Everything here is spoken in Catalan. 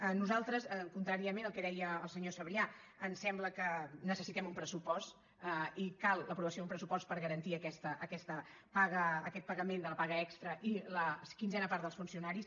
a nos·altres contràriament al que deia el senyor sabrià ens sembla que necessitem un pressupost i cal l’aprovació d’un pressupost per garantir aquest pagament de la pa·ga extra i la quinzena part dels funcionaris